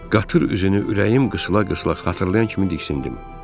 Qatır üzünü ürəyim qısıla-qısıla xatırlayan kimi diksindim.